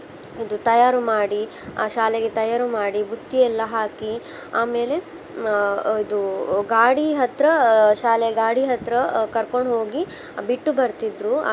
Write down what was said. ಇದು ತಯಾರು ಮಾಡಿ ಆ ಶಾಲೆಗೆ ತಯಾರು ಮಾಡಿ, ಬುತ್ತಿಯೆಲ್ಲಾ ಹಾಕಿ ಆಮೇಲೆ ಆ ಇದು ಗಾಡಿ ಹತ್ರ ಆ ಶಾಲೆ ಗಾಡಿ ಹತ್ರ ಕರ್ಕೊಂಡ್ ಹೋಗಿ ಬಿಟ್ಟು ಬರ್ತಿದ್ರು.